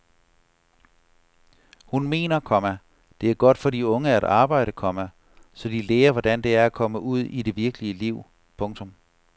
Hun mener, komma det er godt for de unge at arbejde, komma så de lærer hvordan det er at komme ud i det virkelige liv. punktum